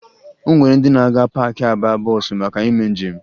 O nwere ndị na-aga paakị aba bọọsụ maka ime njem